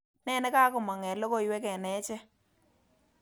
Ne negamong eng logoywek eng achek